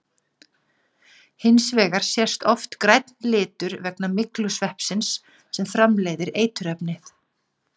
Hins vegar sést oft grænn litur vegna myglusveppsins sem framleiðir eiturefnið.